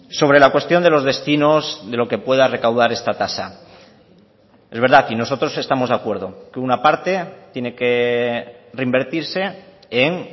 sobre la cuestión de los destinos de lo que pueda recaudar esta tasa es verdad y nosotros estamos de acuerdo que una parte tiene que reinvertirse en